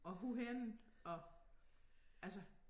Og hvorhenne og altså